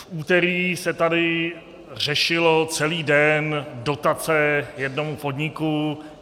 V úterý se tady řešily celý den dotace jednomu podniku.